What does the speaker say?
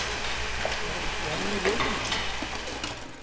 Er hann ekki enn í liðinu?